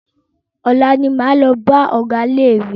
Ọ̀la ní máa lọ bá ọgá ilé ìwé.